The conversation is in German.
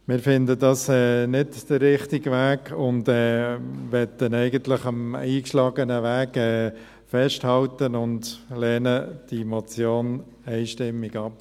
Wir finden, es sei nicht der richtige Weg, möchten eigentlich am eingeschlagenen Weg festhalten und lehnen diese Motion einstimmig ab.